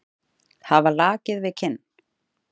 Hafa lakið við kinn.